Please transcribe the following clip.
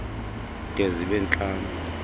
de zibe ntlanu